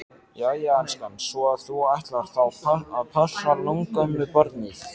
Jæja elskan, svo að þú ætlar þá að passa langömmubarnið?